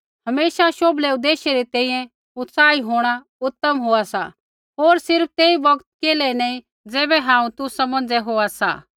हमेशा शोभलै उदेश्य री तैंईंयैं उत्साही होंणा उतम होआ सा होर सिर्फ़ तेई बौगतै केल्है नैंई ज़ैबै हांऊँ तुसा मौंझ़ै होआ सा